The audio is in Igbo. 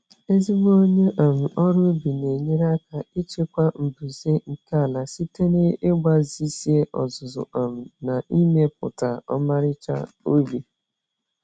Ezigbo onye um ọrụ ubi na-enyere aka ịchịkwa mbuze nke ala site n'ịgbajisịa ozuzu um na ịmepụta ọmarịcha ubi.